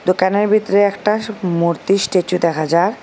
দোকানের ভিতরে একটা সু মূর্তি স্ট্যাচু দেখা যার।